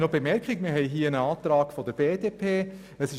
Weiter liegt uns nun einen Antrag der BDP vor.